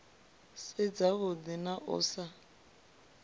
si dzavhuḓi na u sa